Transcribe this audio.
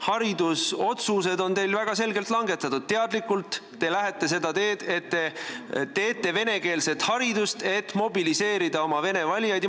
Haridusotsused on teil väga selgelt langetatud: te lähete teadlikult seda teed, et te võimaldate venekeelset haridust, et mobiliseerida oma vene valijaid.